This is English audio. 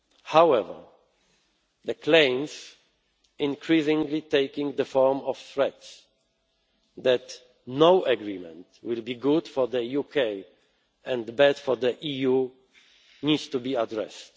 manner. However, the claims, increasingly taking the form of threats, that no agreement will be good for the UK, and bad for the EU, need to be addressed.